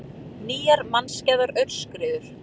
Nýjar mannskæðar aurskriður